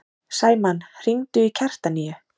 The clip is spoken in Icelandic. Sæmann, hringdu í Kjartaníu.